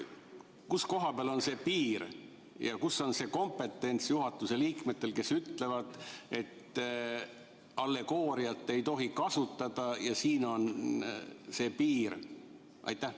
Kus koha peal on see piir ja kus on juhatuse liikmete kompetents, kes ütlevad, et allegooriat ei tohi kasutada ja siin on see piir?